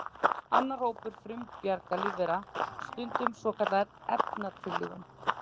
Annar hópur frumbjarga lífvera stundar svokallaða efnatillífun.